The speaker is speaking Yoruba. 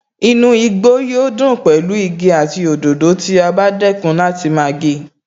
Inú igbó yóò dùn pẹ̀lú igi àti òdòdó tí a bá dẹ́kun láti máa gé e